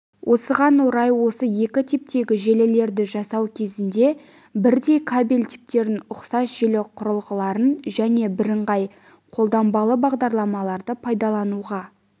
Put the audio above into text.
осыған орай осы екі типтегі желілерді жасау кезінде бірдей кабель типтерін ұқсас желі құрылғыларын және бірыңғай қолданбалы бағдарламаларды пайдалануға